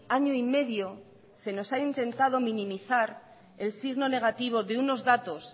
año y medio se nos ha intentado minimizar el signo negativo de unos datos